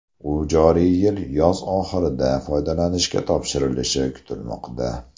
U joriy yil yoz oxirida foydalanishga topshirilishi kutilmoqda.